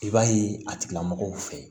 I b'a ye a tigilamɔgɔw fɛ yen